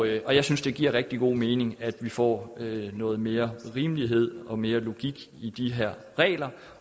jeg synes det giver rigtig god mening at vi får noget mere rimelighed og mere logik i de her regler